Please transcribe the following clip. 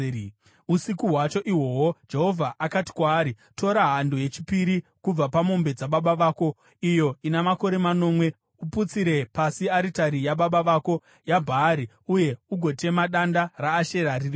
Usiku hwacho ihwohwo Jehovha akati kwaari, “Tora hando yechipiri kubva pamombe dzababa vako iyo ina makore manomwe. Uputsire pasi aritari yababa vako yaBhaari uye ugotema danda raAshera riri pairi.